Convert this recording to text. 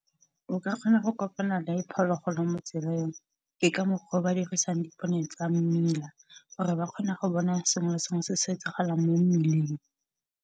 O ka kgona go kopana le phologolo mo tseleng. Ke ka mokgwa o ba dirisang dipone tsa mmila, gore ba kgone go bona sengwe le sengwe se se etsagalang mo mmileng.